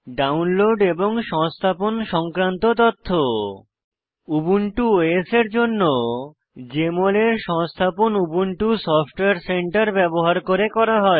download এবং সংস্থাপন সংক্রান্ত তথ্য উবুন্টু ওএস এর জন্য জেএমএল এর সংস্থাপন উবুন্টু সফটওয়্যার সেন্টার ব্যবহার করে করা হয়